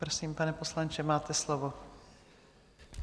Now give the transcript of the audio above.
Prosím, pane poslanče, máte slovo.